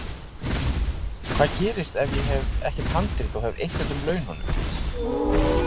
Hvað gerist ef ég hef ekkert handrit og hef eytt öllum laununum?